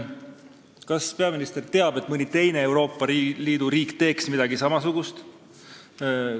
Kas peaminister teab mõnda teist Euroopa Liidu riiki, kes teeks midagi samasugust?